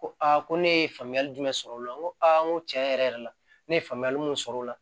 Ko ko ne ye faamuyali jumɛn sɔrɔ o la n ko aa n ko tiɲɛ yɛrɛ yɛrɛ la ne ye faamuyali mun sɔrɔ o la